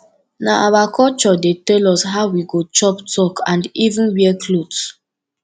nah our culture dey tell us how we go chop talk and even wear cloth